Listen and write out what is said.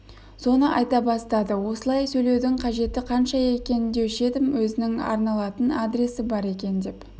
соны айта бастады осылай сөйлеудің қажеті қанша екен деуші едім өзінің арналатын адресі бар екен деп